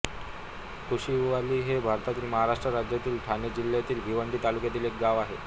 कुशिवली हे भारतातील महाराष्ट्र राज्यातील ठाणे जिल्ह्यातील भिवंडी तालुक्यातील एक गाव आहे